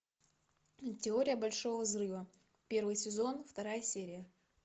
теория большого взрыва первый сезон вторая серия